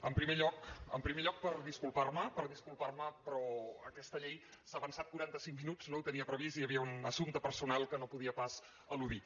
en primer lloc per disculpar me per disculpar me però aquesta llei s’ha avançat quaranta cinc minuts no ho tenia previst hi havia un assumpte personal que no podia pas eludir